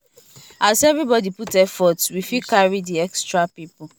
as everybody put effort we fit carry the extra people follow body without any wahala